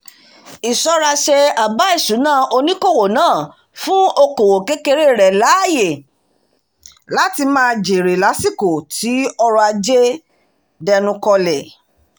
ìṣọ́ra-ṣe àbá ìṣúná oníṣòwò náà fún okoòwò kékeré rẹ̀ láyè láti máa jère lásìkò tí ọrọ̀-ajé dẹnu kọlẹ̀